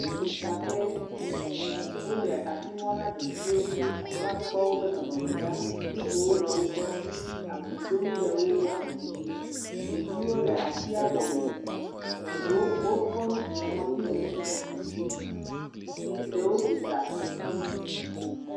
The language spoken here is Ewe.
Le vidaƒe, wole asi ŋɔm na ɖeviwo, woakpɔ eƒe nɔnɔme ɖa, nugowo le wo gbɔ. Abi donu le wo gbɔ, ɖeviwo le atia gɔme. Ɖewo kɔ nu bu ŋɔtinu. ɖewo gbi ɖa.